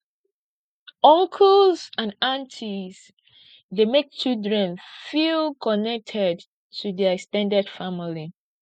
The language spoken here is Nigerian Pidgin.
uncles and aunties dey make children feel connected to their ex ten ded family